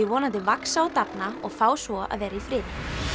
vonandi vaxa og dafna og fá svo að vera í friði